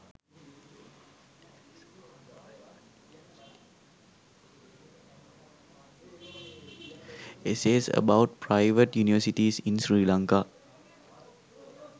essays about private universities in sri lanka